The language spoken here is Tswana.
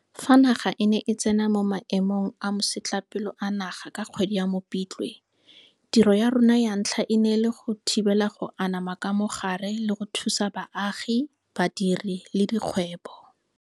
Fa naga e ne e tsena mo Maemong a Masetlapelo a Naga ka kgwedi ya Mopitlwe, tiro ya rona ya ntlha e ne e le go thibela go anama ga mogare le go thusa baagi, badiri le dikgwebo.